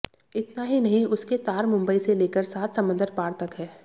इतना ही नहीं उसके तार मुंबई से लेकर सात समंदर पार तक हैं